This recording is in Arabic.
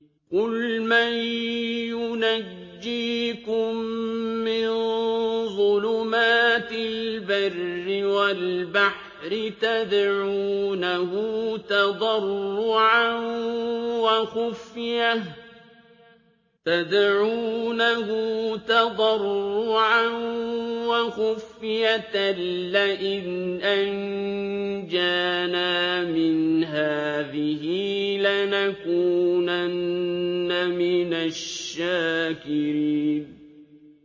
قُلْ مَن يُنَجِّيكُم مِّن ظُلُمَاتِ الْبَرِّ وَالْبَحْرِ تَدْعُونَهُ تَضَرُّعًا وَخُفْيَةً لَّئِنْ أَنجَانَا مِنْ هَٰذِهِ لَنَكُونَنَّ مِنَ الشَّاكِرِينَ